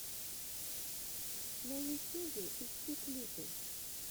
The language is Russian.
на ютюбе ищи клипы